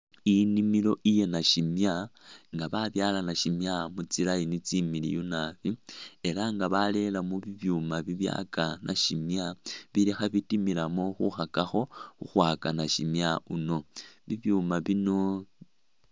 Inimilo iye nashimya nga ba byala nashimya mutsi'line tsimiliyu naabi elanga barelemo bubyuma bibyaka nashimya bilikho bitimilamo khukakakho khukhwaka nashimya uno bibyuma bino